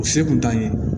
O se kun t'an ye